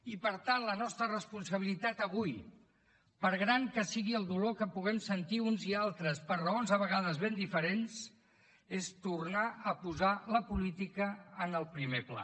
i per tant la nostra responsabilitat avui per gran que sigui el dolor que puguem sentir uns i altres per raons a vegades ben diferents és tornar a posar la política en el primer pla